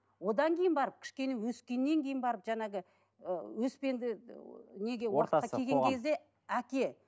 одан кейін барып кішкене өскеннен кейін барып жаңағы ііі өспенді неге келген кезде әке